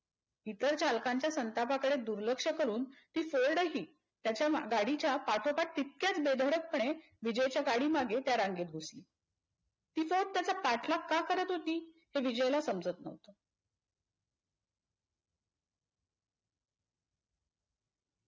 इतर चालकांच्या संतापाकडे दुर्लक्ष करून ती फोर्डही त्याच्या गाडीच्या पाठोपाठ तितक्याच बेधडकपणे विजयाच्या गाडीमागे त्या रांगेत घुसली. ती फोर्ड त्याचा पाठलाग का करत होती ते विजयला समजत न्हवते.